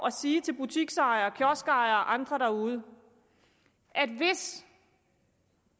at sige til butiksejere kioskejere og andre derude at hvis